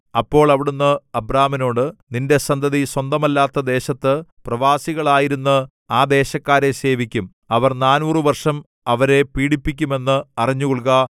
അപ്പോൾ അവിടുന്ന് അബ്രാമിനോട് നിന്റെ സന്തതി സ്വന്തമല്ലാത്ത ദേശത്ത് പ്രവാസികളായിരുന്ന് ആ ദേശക്കാരെ സേവിക്കും അവർ നാനൂറ് വർഷം അവരെ പീഡിപ്പിക്കുമെന്ന് അറിഞ്ഞുകൊള്ളുക